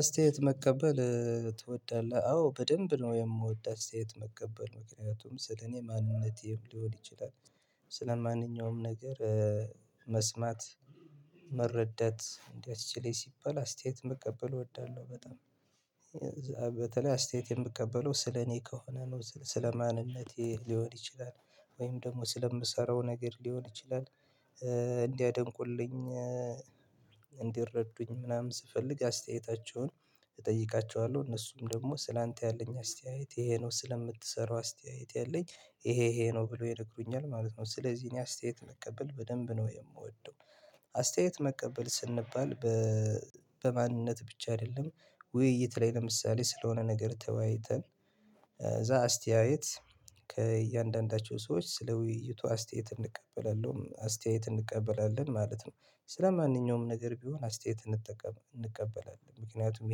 አስተያየት መቀበል ትወዳለህ? አዎ በደንብ ነው የምወደው አስተያየት መቀበል፤ ምክንያቱም ስለ እኔ ማንነቴም ሊሆን ይችላል ስለማንኛውም ነገር መስማት፣ መረዳት እንዲያስችለኝ ሲባል አስተያየት መቀበል እወዳለሁ በጣም በተለይ አስተያየት የምቀበለው ስለኔ ከሆነ ነው ስለ ማንነቴ ሊሆን ይችላል ወይም ደግሞ ስለምሰራው ነገር ሊሆን ይችላል እንዲያደንቁልኝ እንዲረዱኝ ምናምን ስፈልግ አስተያየታቸውን እጠይቃቸዋለሁ እነሱም ደግሞ ስላንተ ያለኝ አስተያየት ይሄ ነው፣ ስለምትሰራው አስተያየት ያለኝ ይሄ ይሄ ነው ብሎ ይነግሩኛል ማለት ነው፤ ስለዚህ እኔ አስተያየት መቀበል በደንብ ነው የምወደው አስተያየት መቀበል ስንባል በማንነት ብቻ አይደለም ውይይት ላይ ለምሳሌ ስለሆነ ነገር ተወያይተን ከዛ አስተያየት ከእያንዳንዳቸው ሰዎች ስለ ውይይቱ አስተያየት እንቀበላለን አስተያየት እንቀበላለን ማለት ነው። ስለማንኛውም ነገር ቢሆን አስተያየት እንቀበላለን፤ ምክንያቱም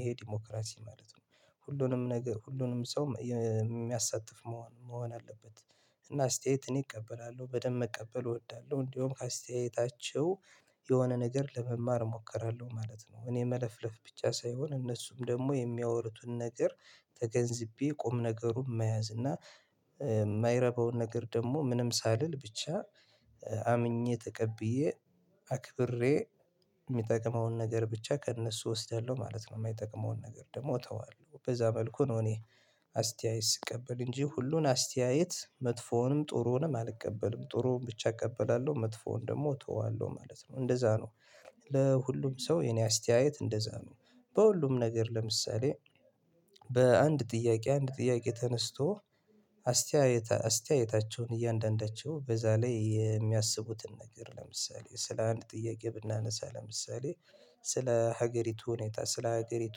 ይሄ ዲሞክራሲ ማለት ነው። ሁሉንም ነገር ሁሉንም ሰው የሚያሳትፍ መሆን መሆን አለበት። እና አስተያየት እኔ እቀበላለሁ በደንብ መቀበል እወዳለሁ፤ እንደውም ከአስተያየታቸው የሆነ ነገር ለመማር እሞክራለሁ ማለት ነው። እኔ መለፍለፍ ብቻ ሳይሆን እነሱም ደግሞ የሚያወሩትን ነገር ተገንዝቤ ቁም ነገሩን መያዝ እና የማይረባውን ነገር ደግሞ ምንም ሳልል ብቻ አምኜ ተቀብዬ አክብሬ የሚጠቅመውን ነገር ብቻ ከእነሱ እወስዳለሁ ማለት ነው የማይጠቅመውን ነገር ደግሞ እተዋለሁ በዛ መልኩ ነው እኔ አስተያየት ስቀበል እንጂ ሁሉን አስተያየት መጥፎውንም ጥሩንም አልቀበልም ጥሩውን ብቻ እቀበላለሁ መጥፎውን ደግሞ እተወዋለሁ ማለት ነው እንደዛ ነው ለሁሉም ሰው የኔ አስተያየት እንደዛ ነው። በሁሉም ነገር ለምሳሌ በአንድ ጥያቄ አንድ ጥያቄ ተነስቶ አስተያየታ አስተያየታቸውን እያንዳንዳቸው በዛ ላይ የሚያስቡትን ነገር ለምሳሌ ስለ አንድ ጥያቄ ብናነሳ ለምሳሌ ስለ ሀገሪቱ ሁኔታ፣ ስለ ሀገሪቱ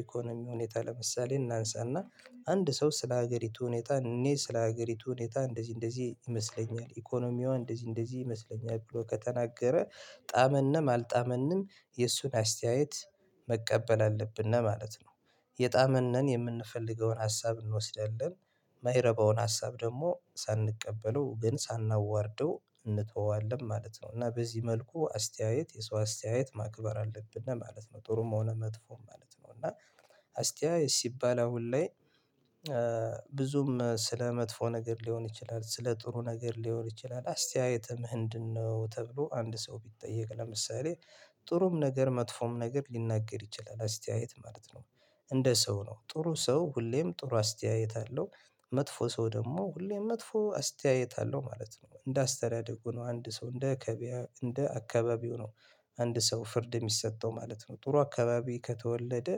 ኢኮኖሚ ሁኔታ ለምሳሌ እናንሳና አንድ ሰው ስለ ሀገሪቱ ሁኔታ እኔ ስለ ሀገሪቱ ሁኔታ እንደዚህ እንደዚህ ይመስለኛል፤ ኢኮኖሚዋ እንደዚህ እንደዚህ ይመስለኛል ብሎ ከተናገረ ጣመንም አልጣመንም የእሱን አስተያየት መቀበል አለብን ነው ማለት ነው። የጣመነን የምንፈልገውን ሀሳብ እንወስዳለን ማይረባውን ሀሳብ ደግሞ ሳንቀበለው ግን ሳናዋርደው እንተወዋለን ማለት ነው፤ እና በዚህ መልኩ አስተያየት የሰው አስተያየት ማክበር አለብን ማለት ነው። ጥሩም ሆነ መጥፎም ማለት ነው እና አስተያየት ሲባል አሁን ላይ ብዙም ስለ መጥፎ ነገር ሊሆን ይችላል፣ ስለ ጥሩ ነገር ሊሆን ይችላል አስተያየትም ህንድን ነው? ተብሎ አንድ ሰው ቢጠየቅ ለምሳሌ ጥሩም ነገር መጥፎም ነገር ሊናገር ይችላል አስተያየት ማለት ነው። እንደ ሰው ነው ጥሩ ሰው ሁሌም ጥሩ አስተያየት አለው፤ መጥፎ ሰው ደግሞ ሁሌም መጥፎ አስተያየት አለው ማለት ነው እንደ አስተዳደጉ ነው አንድ ሰው እንደ ከብያ እንደ አካባቢው ነው አንድ ሰው ፍርድ የሚሰጠው ማለት ነው። ጥሩ አካባቢ ከተወለደ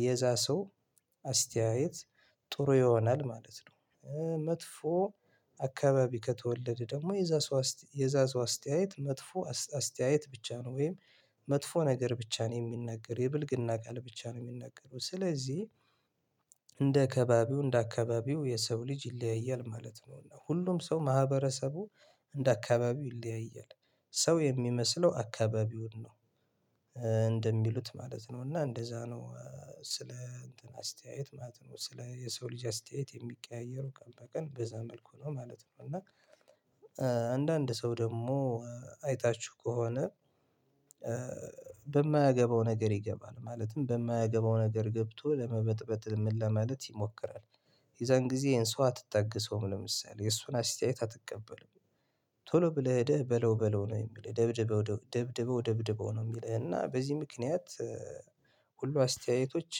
የዛ ሰው አስተያየት ጥሩ ይሆናል ማለት ነው። መጥፎ አካባቢ ከተወለደ ደግሞ የዛ ሰው የዛ ሰው አስተያየት መጥፎ አስተያየት ብቻ ነው ወይም መጥፎ ነገር ብቻ ነው የሚነገረው፤ የብልግና ቃል ብቻ ነው የሚነገረው፤ ስለዚህ እንደ አካባቢው እንደ አካባቢው የሰው ልጅ ይለያያል ማለት ነው፤ እና ሁሉም ሰው ማህበረሰቡ እንደ አካባቢው ይለያያል። ሰው የሚመስለው አካባቢውን ነው እንደሚሉት ማለት ነው፤ እና እንደዛ ነው ስለ አስተያየት ማለት ነው። ስለ የሰው ልጅ አስተያየት የሚቀያየሩ ቀን በቀን በዛ መልኩ ነው ማለት ነው፤ እና አንዳንድ ሰው ደግሞ አይታችሁ ከሆነ በማያገባው ነገር ይገባል ማለትም በማያገባው ነገር ገብቶ ለመበጥበጥ ምን ለማለት ይሞክራል የዛን ጊዜ ይሄን ሰው አትታገሰውም ለምሳሌ የሱን አስተያየት አትቀበልም ቶሎ ብለህ ሄደህ በለው በለው ነው የሚልህ ደብድበው ደብድበው ደብድበው ነው የሚለው እና በዚህ ምክንያት ሁሉ አስተያየቶች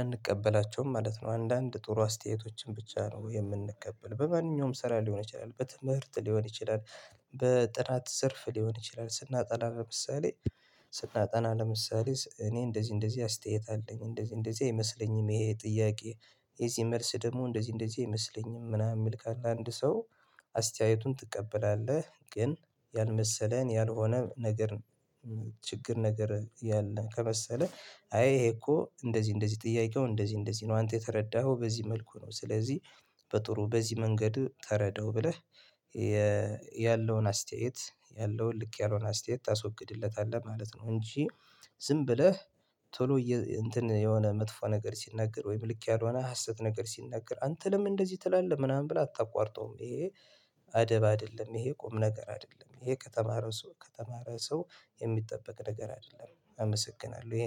አንቀበላቸውም ማለት ነው። አንዳንድ ጥሩ አስተያየቶችን ብቻ ነው የምንቀበለው። በማንኛውም ስራ ሊሆን ይችላል በትምህርት ሊሆን ይችላል፣ በጥናት ዘርፍ ሊሆን ይችላል፣ ስናጠና ለምሳሌ ስናጠና ለምሳሌ እኔ እንደዚህ እንደዚህ አስተያየት አለኝ እንደዚህ እንደዚህ አይመስለኝም፣ ይሄ ጥያቄ የዚህ መልስ ደግሞ እንደዚህ እንደዚህ አይመስለኝም፣ ምናምን የሚል ካለ አንድ ሰው አስተያየቱን ትቀበላለህ፤ ግን ያልመሰለን ያልሆነ ነገር ችግር ነገር ያለ ከመሰለህ አይ ይሄ እኮ እንደዚህ እንደዚህ ጥያቄው እንደዚህ እንደዚህ ነው አንተ የተረዳኸው በዚህ መልኩ ነው ስለዚህ በጥሩ በዚህ መንገድ ተረዳው ብለህ ያለውን አስተያየት ያለውን ልክ ያልሆነ አስተያየት ታስወግድለታለህ ማለት ነው፤ እንጂ ዝም ብለህ ቶሎ እንትን የሆነ መጥፎ ነገር ሲናገር ወይም ልክ ያልሆነ ሀሰት ነገር ሲናገር አንተ ለምን እንደዚህ ትላለህ ምናምን ብላ አታቋርጠውም ይሄ አደብ አይደለም ይሄ ቁም ነገር አይደለም ይሄ ከተማረ ሰው ከተማረ ሰው የሚጠበቅ ነገር አይደለም አመሰግናለሁ።